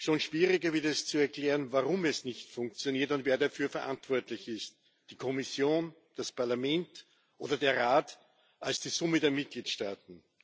Schon schwieriger wird es zu erklären, warum es nicht funktioniert und wer dafür verantwortlich ist die Kommission, das Parlament oder der Rat als die Summe der Mitgliedstaaten.